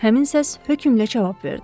Həmin səs hökmlə cavab verdi.